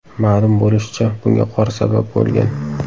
Ma’lum bo‘lishicha, bunga qor sabab bo‘lgan.